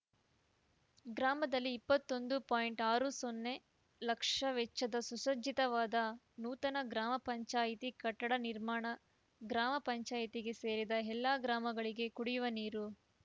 ಗ್ರಾಮದಲ್ಲಿ ಇಪ್ಪತ್ತೊಂದು ಪಾಯಿಂಟ್ ಆರು ಸೊನ್ನೆ ಲಕ್ಷ ವೆಚ್ಚದ ಸುಸಜ್ಜಿತವಾದ ನೂತನ ಗ್ರಾಮ ಪಂಚಾಯಿತಿ ಕಟ್ಟಡ ನಿರ್ಮಾಣ ಗ್ರಾಮ ಪಂಚಾಯಿತಿಗೆ ಸೇರಿದ ಎಲ್ಲ ಗ್ರಾಮಗಳಿಗೆ ಕುಡಿಯುವ ನೀರು